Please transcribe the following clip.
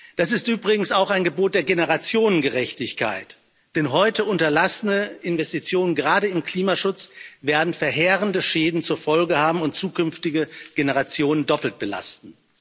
Das ist übrigens auch ein Gebot der Generationengerechtigkeit, denn heute unterlassene Investitionen, gerade im Klimaschutz, werden verheerende Schäden zur Folge haben und zukünftige Generationen doppelt belasten.